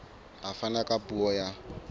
a fana ka puo ya